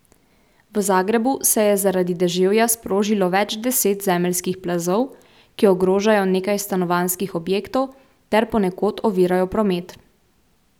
V Zagrebu se je zaradi deževja sprožilo več deset zemeljskih plazov, ki ogrožajo nekaj stanovanjskih objektov ter ponekod ovirajo promet.